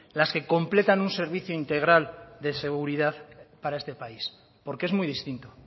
las que completan un servicio integral de seguridad para este país porque es muy distinto